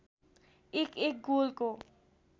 एक एक गोलको